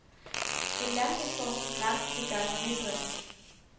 En landbrugsform, som grænser til gartneridrift.